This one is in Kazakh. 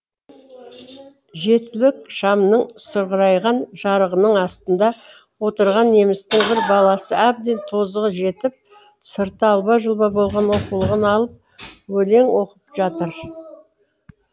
жетілік шамның сығырайған жарығының астында отырған немістің бір баласы әбден тозығы жетіп сырты алба жұлба болған оқулығын алып өлең оқып жатыр